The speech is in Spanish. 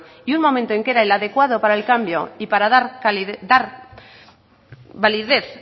y un momento que era el adecuado para el cambio para dar validez